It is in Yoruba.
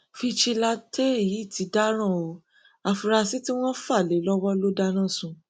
fíjìnnàtẹ yìí ti dáràn ọ afurasí tí wọn fà lé e lọwọ ló dáná sun